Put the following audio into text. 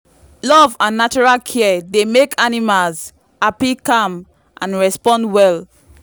love and natural care dey make animals happy calm and respond well.